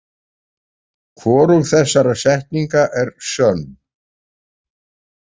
Hvorug þessara setninga er sönn.